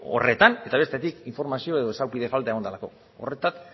horretan eta bestetik informazio edo esapide falta egon delako horretan